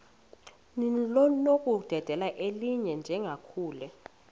linokudedela elinye njengakule